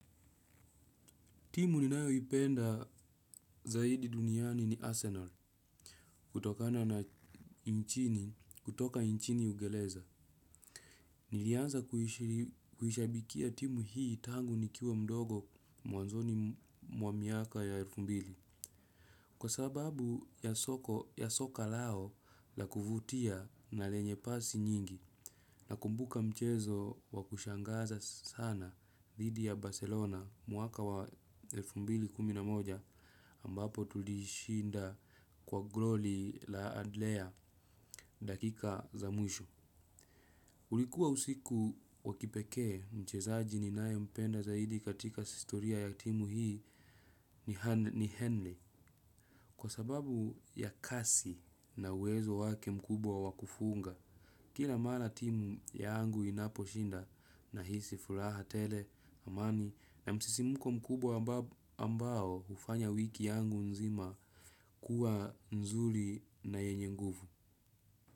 Timu ninayoipenda zaidi duniani ni Arsenal. Kutokana na nchini, kutoka nchini uingereza. Nilianza kuishabikia timu hii tangu nikiwa mdogo mwanzoni mwa miaka ya elfu mbili. Kwasababu ya soko ya soka lao la kuvutia na lenye pasi nyingi. Nakumbuka mchezo wakushangaza sana dhidi ya Barcelona mwaka wa elfu mbili kumi na moja ambapo tulishinda kwa goli la Adlea dakika za mwisho. Kulikuwa usiku wakipekee mchezaji ninayempenda zaidi katika historia ya timu hii ni Henry. Kwasababu ya kasi na uwezo wake mkubwa wakufunga. Kila mara timu yangu inaposhinda nahisi furaha tele, amani na msisimuko mkubwa ambao ufanya wiki yangu nzima kuwa nzuri na yenye nguvu.